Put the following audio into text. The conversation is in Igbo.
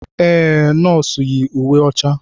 Ee, nọọsụ yi uwe ọcha.